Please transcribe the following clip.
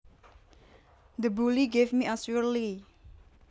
The bully gave me a swirlie